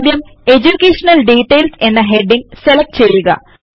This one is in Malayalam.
ആദ്യം എഡ്യൂകേഷൻ ഡിറ്റെയിൽസ് എന്ന ഹെഡിംഗ് സെലക്ട് ചെയ്യുക